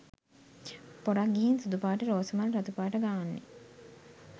පොරක් ගිහින් සුදු පාට රෝසමල් රතුපාට ගාන්නෙ